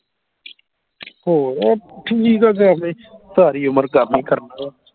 ਹੋਰ ਠੀਕ ਆ ਸਾਰੀ ਉਮਰ ਕਰਨਾ ਹੀ ਕਰਨਾ